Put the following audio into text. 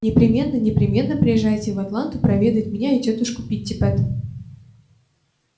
непременно непременно приезжайте в атланту проведать меня и тётушку питтипэт